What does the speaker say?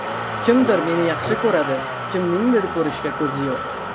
Kimdir meni yaxshi ko‘radi, kimningdir ko‘rishga ko‘zi yo‘q.